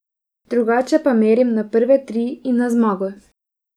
Drugače pa merim na prve tri in na zmago.